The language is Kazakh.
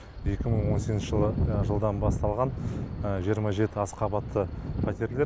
екі мың он сегізінші жылдан басталған жиырма жеті аз қабатты пәтерлер